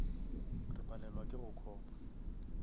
re palelwa ke go copa